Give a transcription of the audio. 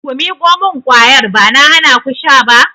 Ku miƙo mun kwayar! Ba na hanaku sha ba.